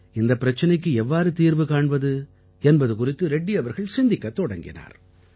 இந்தப் பிரச்சனைக்கு எவ்வாறு தீர்வு காண்பது என்பது குறித்து ரெட்டி அவர்கள் சிந்திக்கத் தொடங்கினார்